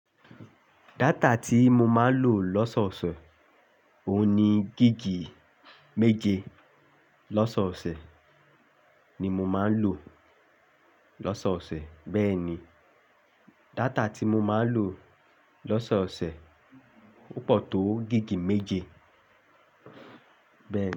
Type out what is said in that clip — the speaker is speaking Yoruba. Data tí mo máa ń lò lọ́sọ̀ọ̀sẹ̀, òun ni gigi méje lọ́sọ̀ọ̀sẹ̀ ni mo máa ń lò lọ́sọ̀ọ̀sẹ̀. Bẹ́ẹ̀ ni, data tí mo máa ń lò lọ́sọ̀ọ̀sẹ̀, ó pọ̀ tó gigi méje bẹ́ẹ̀ ni.